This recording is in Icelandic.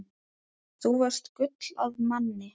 Þú varst gull af manni.